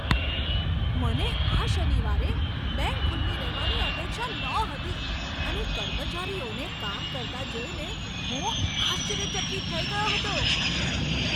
મને આ શનિવારે બેંક ખુલ્લી રહેવાની અપેક્ષા નહોતી અને કર્મચારીઓને કામ કરતા જોઈને હું આશ્ચર્યચકિત થઈ ગયો હતો.